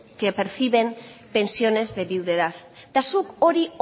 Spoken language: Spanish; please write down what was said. que perciben pensiones de viudedad eta zuk hori